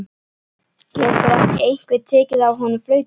Getur ekki einhver tekið af honum flautuna?